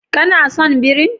Ka na son birin?